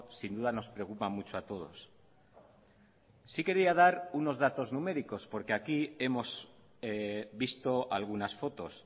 sin duda nos preocupa mucho a todos sí quería dar unos datos numéricos porque aquí hemos visto algunas fotos